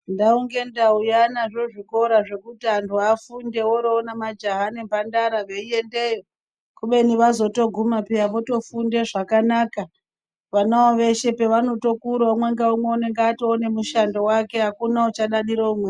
Ndau ngendau yanazvo zvikora zvekuti antu afunde woroona majaha nemhandara veyiendeyo kubeni vazotoguma peya votofunde zvakanaka. Vanavo veshe pavanotokura umwe naumwe unenge watova nemushando wake akuna uchadadire umweni.